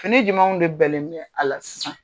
Fini jumɛnw de bɛnlen bɛ a la sisan.